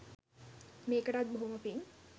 මේකටත් බොහොම පිං.